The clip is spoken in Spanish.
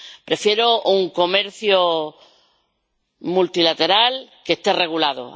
Prefiero un comercio multilateral que esté regulado.